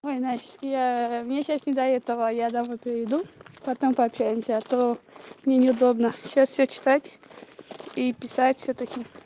ой настя я мне сейчас не до этого я домой приду потом пообщаемся а то мне неудобно сейчас всё читать и писать всё-таки